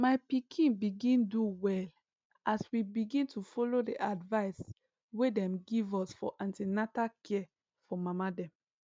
my pikin begin do well as we begin to follow the advice wey dem give us for an ten atal care for mama dem